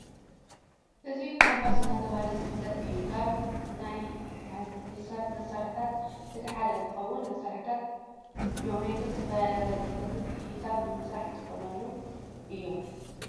እዚ ኮምፓስ እናተብሃለ ዝፍለጥ እዩ። ካብ ናይ ሒሳብ መሳርሕታት እቲ ሓደ እንትኸውን መሳርሕታት ጅኦሜትርን ዝተፈላለዩ ራድያሳትን ሒሳብ ንምስራሕ ዝጠቅሙና እዮም።